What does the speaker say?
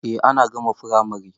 Eh na gama firamare.